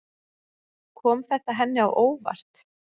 Kom þetta henni á óvart?